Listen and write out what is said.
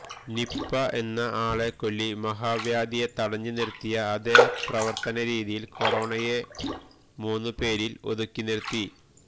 Nipah എന്ന ആളെക്കൊല്ലി മഹാവ്യാധിയെ തടഞ്ഞ് നിര്ത്തിയ അതേ പ്രവര്ത്തന രീതിയില് കൊറോണയെ മൂന്നുപേരില് ഒതുക്കിനിര്ത്തി